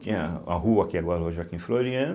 Tinha a rua que agora é rua Joaquim Floriano,